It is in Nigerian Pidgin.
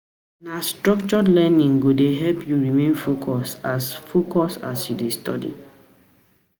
Na structured learning go dey help you remain focused as remain focused as you dey study.